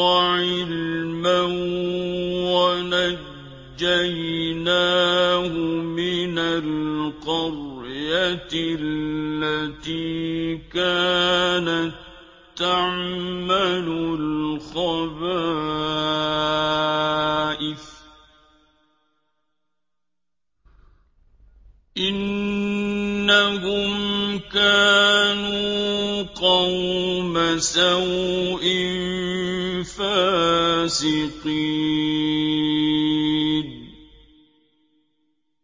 وَعِلْمًا وَنَجَّيْنَاهُ مِنَ الْقَرْيَةِ الَّتِي كَانَت تَّعْمَلُ الْخَبَائِثَ ۗ إِنَّهُمْ كَانُوا قَوْمَ سَوْءٍ فَاسِقِينَ